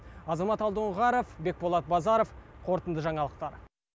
азамат алдоңғаров бекболат базаров қорытынды жаңалықтар